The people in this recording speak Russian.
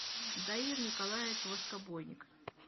даир николаевич воскобойник